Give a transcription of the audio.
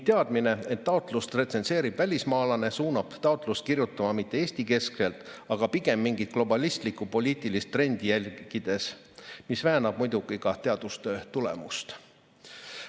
Teadmine, et taotlust retsenseerib välismaalane, suunab taotlust kirjutama mitte Eesti-keskselt, vaid pigem mingit globalistlikku poliitilist trendi järgides, mis väänab muidugi ka teadustöö tulemust.